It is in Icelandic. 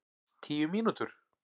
Tíu mínútur?